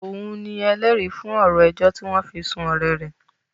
Òun ni ẹlẹ́rìí fún ọ̀rọ̀ ẹjọ́ tí wọ́n fi sún ọ̀rẹ́ rẹ̀